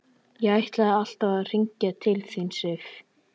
Ég ætlaði alltaf að hringja til þín, Sif.